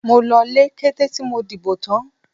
Mo lọlé kété tí mo dìbò tán.